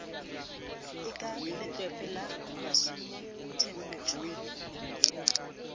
e ka letlwepe la masumuathebotsho